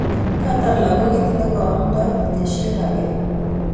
Katar lakok kitnekoamdo tesin age.